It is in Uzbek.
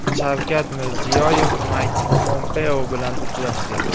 Shavkat Mirziyoyev Mayk Pompeo bilan uchrashdi.